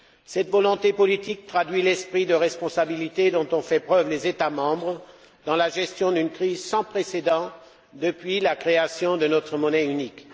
Cette volonté politique traduit l'esprit de responsabilité dont ont fait preuve les États membres dans la gestion d'une crise sans précédent depuis la création de notre monnaie unique.